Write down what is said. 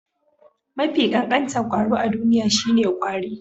Mafi ƙanƙanta kwaro a duniya shine ƙwari.